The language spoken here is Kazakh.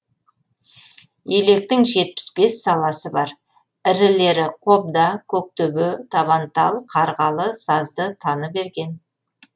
електің жетпіс бес саласы бар ірілері қобда көктөбе табантал қарғалы сазды таныберген